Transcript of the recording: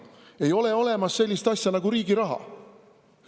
Ei ole olemas sellist asja nagu riigi raha.